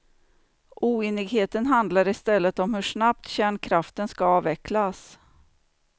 Oenigheten handlar i stället om hur snabbt kärnkraften ska avvecklas.